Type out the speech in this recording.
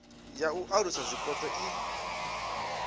ya u alusa zwipotso i